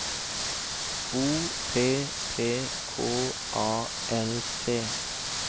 O P P K A L T